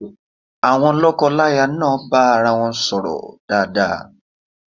Àwon lọ́kọláya náà bá arawọn sọ̀rọ̀ dáadáa.